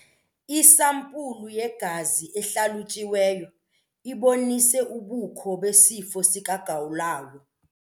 Isampulu yegazi ehlalutyiweyo ibonise ubukho besifo sikagawulayo.